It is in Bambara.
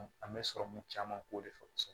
An bɛ sɔrɔmu caman k'o de fɛ kosɛbɛ